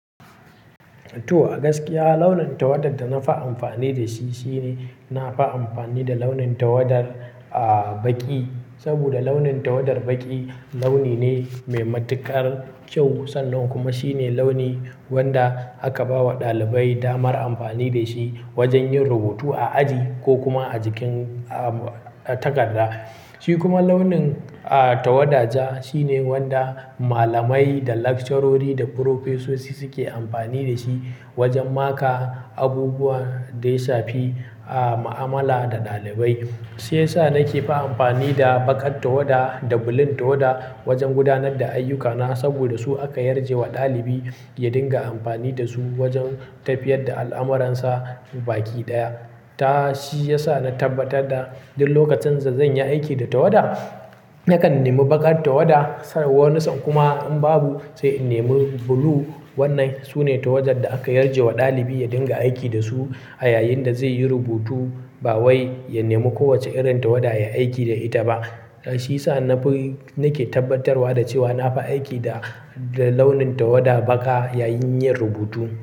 To, a gaskiya launin tawadar da na fi amfani da shi shine na fi amfani da launin tawadar, ah, baƙi. Saboda launin tawadar baƙi launi ne mai matuƙar kyau. Sannan kuma shine launi wanda aka ba wa ɗalibai damar amfani da shi wajen yin rubutu a aji ko kuma a jikin, ah, takarda. Shi kuma launin, ah, tawada ja shine wanda malamai da lecturerori da professosi suke amfani da shi wajen maka abubuwa da ya shafi, ah, ma'amala da ɗalibai. Shi ya sa nake fi amfani da baƙar tawada da blue tawada wajen gudanar da ayyukana saboda su aka yarje wa ɗalibi ya dinga amfani da su wajen tafiyar da al'amuransa. Baƙi ɗaya. Ta-- shi ya sa na tabbatar da duk lokacin da zan yi aiki da tawada, nakan nemi baƙar tawada, sannan warninsa kuma in babu, sai in nemi blue. Wanna su ne tawadar da aka yarje wa ɗalibi ya dinga aiki da su a yayin da zai yi rubutu. Ba wai ya nemi kowace irin tawada ya aiki da ita ba. Shi ya sa na fi-- nake tabbatarwa da cewa na fi aiki da, da launin tawada baƙa yayin yin rubutu.